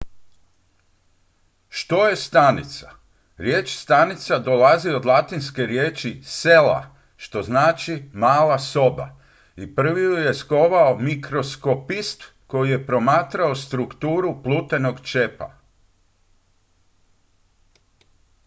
"što je stanica? riječ stanica dolazi od latinske riječi "cella" što znači "mala soba" i prvi ju je skovao mikroskopist koji je promatrao strukturu plutenog čepa.